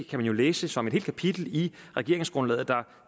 jo læse som et helt kapitel i regeringsgrundlaget der